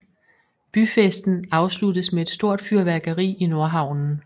Byfesten afsluttes med et stort fyrværkeri i Nordhavnen